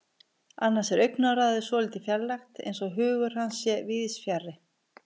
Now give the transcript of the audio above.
Annars er augnaráðið svolítið fjarrænt, eins og hugur hans sé víðsfjarri.